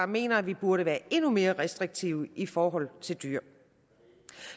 mener at vi burde være endnu mere restriktive i forhold til dyr